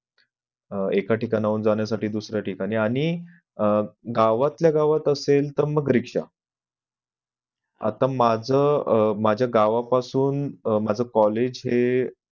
एका ठिकाणावरून जाण्या साठी दुसऱ्या ठिकाणी आणि अह गावातल्या गावात असेल तर मग रिक्षा आत्ता माझ माझ्या गावापासून माझं college हे